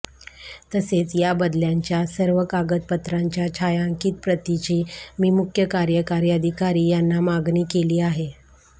तसेच या बदल्यांच्या सर्व कागदपत्रांच्या छायांकित प्रतीची मी मुख्य कार्यकारी अधिकारी यांना मागणी केली आहे